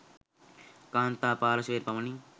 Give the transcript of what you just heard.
කාන්තා පාර්ශ්වයට පමණි.